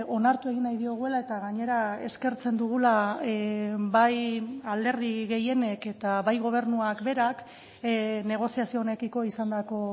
onartu egin nahi diogula eta gainera eskertzen dugula bai alderdi gehienek eta bai gobernuak berak negoziazio honekiko izandako